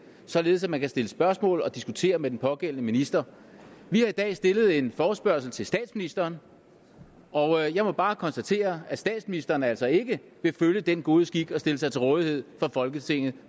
således at man kan stille spørgsmål og diskutere med den pågældende minister vi har i dag stillet en forespørgsel til statsministeren og jeg må bare konstatere at statsministeren altså ikke vil følge den gode skik at stille sig til rådighed for folketinget